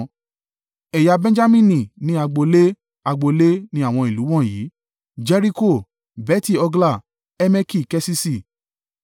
Ẹ̀yà Benjamini ní agbo ilé, agbo ilé ni àwọn ìlú wọ̀nyí: Jeriko, Beti-Hogla, Emeki-Keṣiṣi,